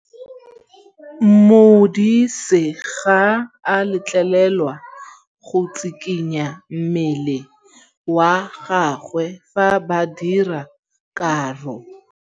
Modise ga a letlelelwa go tshikinya mmele wa gagwe fa ba dira karô.